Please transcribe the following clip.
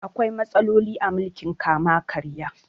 Akwai matsaloli a mulkin kama-karya.